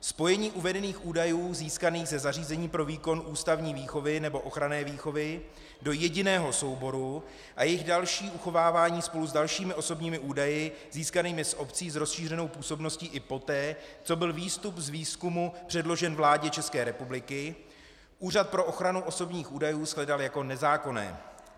Spojení uvedených údajů získaných ze zařízení pro výkon ústavní výchovy nebo ochranné výchovy do jediného souboru a jejich další uchovávání spolu s dalšími osobními údaji získanými z obcí s rozšířenou působností i poté, co byl výstup z výzkumu předložen vládě České republiky, Úřad pro ochranu osobních údajů shledal jako nezákonné.